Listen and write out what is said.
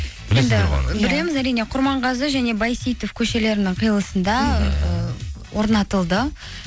білеміз әрине құрманғазы және бәйсейітов көшелерінің қиылысында ы орнатылды